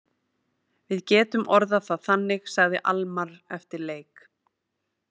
Við getum orðað það þannig, sagði Almarr eftir leik.